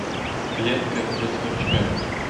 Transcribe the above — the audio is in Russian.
клетка для сверчка